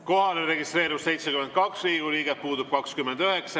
Kohalolijaks registreerus 72 Riigikogu liiget, puudub 29.